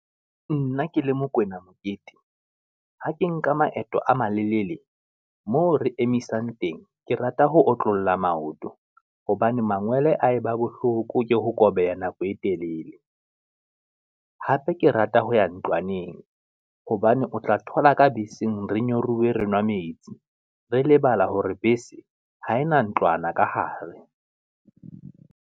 Nna ke le Mokoena Mokete, ha ke nka maeto a malelele moo re emisang teng, ke rata ho otlolla maoto, hobane mangwele a e ba bohloko ke ho kobeha nako e telele, hape ke rata ho ya ntlwaneng, hobane o tla thola ka beseng re nyoruwe re nwa metsi. Re lebala hore bese ha e na ntlwana ka hare.